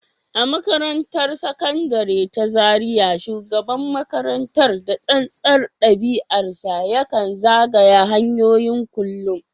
A makarantar Sakandare ta Zariya, shugaban makarantar, da tsantsar ɗabi’arsa, ya kan zagaya hanyoyin kullum